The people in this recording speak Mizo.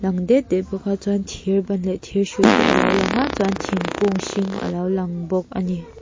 det det bawk a chuan thir ban leh thir hrui te alo lang a chuan thingkung hring alo lang bawk a ni.